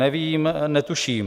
Nevím, netuším.